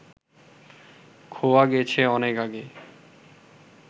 খোয়া গেছে অনেক আগে